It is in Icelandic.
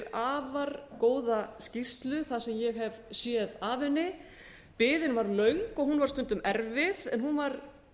afar góða skýrslu það sem ég hef séð af henni biðin var löng og hún var stundum erfið en hún var